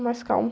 É mais calmo.